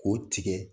K'o tigɛ